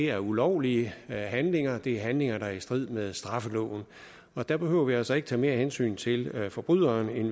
er ulovlige handlinger det er handlinger der er i strid med straffeloven der behøver vi altså ikke tage mere hensyn til forbryderen end